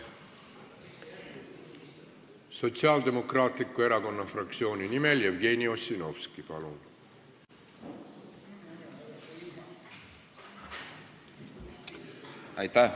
Sotsiaaldemokraatliku Erakonna fraktsiooni nimel Jevgeni Ossinovski, palun!